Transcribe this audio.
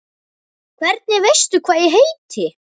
Hvernig veistu hvað ég heiti?